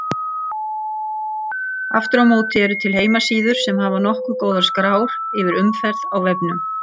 Aftur á móti eru til heimasíður sem hafa nokkuð góðar skrár yfir umferð á vefnum.